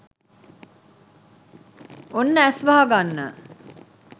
ඔන්න ඇස් වහගන්න